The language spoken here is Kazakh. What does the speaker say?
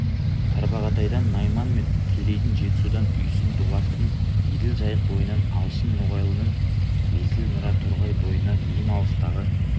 тарбағатайдан найман мен керейдің жетісудан үйсін дулаттың еділ жайық бойынан алшын ноғайлының есіл нұра торғай бойынан ең алыстағы